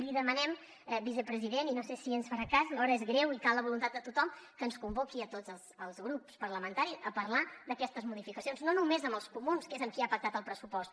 li demanem vicepresident i no sé si ens farà cas l’hora és greu i cal la voluntat de tothom que ens convoqui a tots els grups parlamentaris a parlar d’aquestes modificacions no només als comuns que és amb qui ha pactat el pressupost